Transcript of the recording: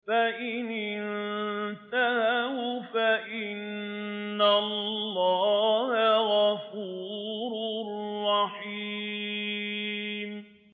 فَإِنِ انتَهَوْا فَإِنَّ اللَّهَ غَفُورٌ رَّحِيمٌ